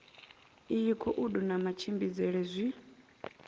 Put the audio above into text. iyi khoudu na matshimbidzele zwi